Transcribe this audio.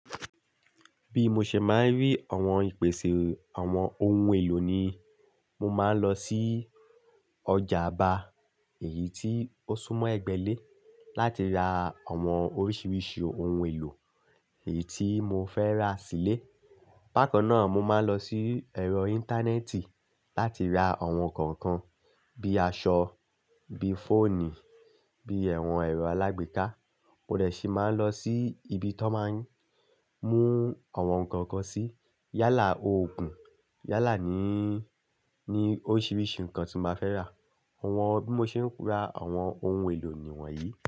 Bí mo ṣe máa ń rí àwọn ìpèsè àwọn ohun èlò ni, mo máa ń lọ sí ọjà Aba èyí tí ó súmọ́ Ẹ̀gbẹ́lé láti ra àwọn oríṣiríṣi ohun èlò èyí tí mo fẹ́ ra sílé. Páko náà mo máa lọ sí ẹ̀rọ Íńtánẹ́ẹ̀tì láti ra àwọn nǹkan kan bí i aṣọ, bí i fóònù, bí i ẹ̀wọ̀n ẹ̀rọ alágbèéká. Oríẹ̀ ṣe màá lọ sí ibi tó máa ń mú àwọn nǹkan kan sí. Yálà oògùn, yálà ní, ní oríṣiríṣi nǹkan tí mo fẹ́ rà. Àwọn bí mo ṣe ń ra àwọn ohun èlò nìwọ̀nyí.